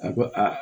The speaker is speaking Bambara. A ko aa